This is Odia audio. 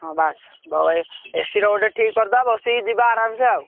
ହଁ ବାସ AC ର ଗୋଟେ ଠିକ କରିଦବା ବସିକି ଯିବା ଆରମସେ ଆଉ।